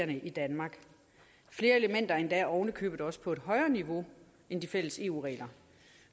i danmark flere elementer endda oven i købet også på et højere niveau end de fælles eu regler